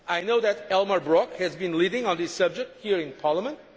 I know that Elmar Brok has been leading on this subject here in Parliament.